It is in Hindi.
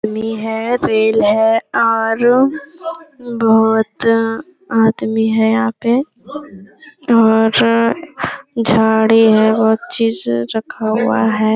आदमी है रेल है और बहुत आदमी है यहाँ पे और झाडी है बहुत चीज़ रखा हुआ है ।